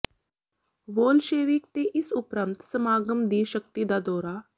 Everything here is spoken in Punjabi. ਵੋਲਸ਼ੇਵਿਕ ਤੇ ਇਸ ਉਪਰੰਤ ਸਮਾਗਮ ਦੀ ਸ਼ਕਤੀ ਦਾ ਦੌਰਾ